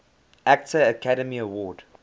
actor academy award